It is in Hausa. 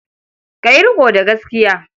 Ka yi riƙo da gaskiya.